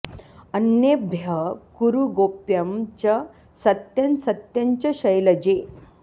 अन्येभ्यः कुरु गोप्यं च सत्यं सत्यं च शैलजे